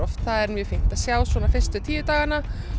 er fínt að sjá fyrstu tíu dagana